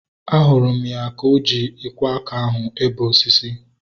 Ahụrụ m ya ka o ji ikwo aka ahu ebe osisi